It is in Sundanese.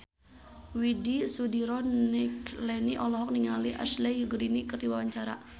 Widy Soediro Nichlany olohok ningali Ashley Greene keur diwawancara